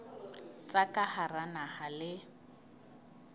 tsa ka hara naha le